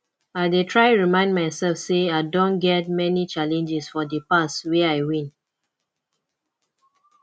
i dey try remind myself say i don get many challenges for di past wey i win